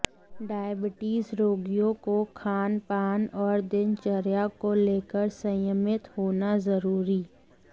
diabetes रोगियों को खानपान और दिनचर्या को लेकर संयमित होना जरूरी